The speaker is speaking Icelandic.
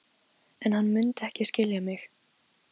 En hann mundi ekki skilja mig.